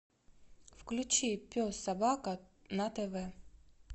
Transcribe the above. включи пес собака на тв